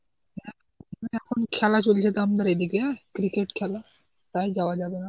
এখন খেলা চলছে তো আমাদের এদিকে, cricket খেলা, তাই যাওয়া যাবেনা.